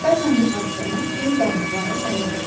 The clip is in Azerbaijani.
Bəzən bu hadisələr böyük dağıntılara səbəb olur.